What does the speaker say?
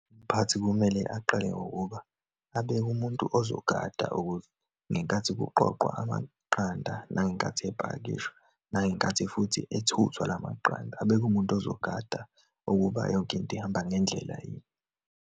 Umphathi kumele aqale ngokuba abeke umuntu ozogada ukuze ngenkathi kuqoqwa amaqanda, nangenkathi epakishwa, nangenkathi futhi ethuthwa lamaqanda, abeke umuntu ozogada ukuba yonke into ihamba ngendlela yini.